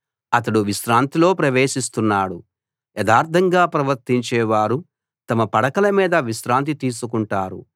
అతడు విశ్రాంతిలో ప్రవేశిస్తున్నాడు యథార్ధంగా ప్రవర్తించేవారు తమ పడకల మీద విశ్రాంతి తీసుకుంటారు